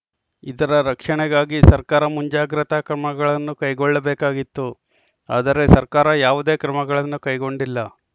ಇದರ ರಕ್ಷಣೆಗಾಗಿ ಸರ್ಕಾರ ಮುಂಜಾಗ್ರತಾ ಕ್ರಮಗಳನ್ನು ಕೈಗೊಳ್ಳಬೇಕಾಗಿತ್ತು ಆದರೆ ಸರ್ಕಾರ ಯಾವುದೇ ಕ್ರಮಗಳನ್ನು ಕೈಗೊಂಡಿಲ್ಲ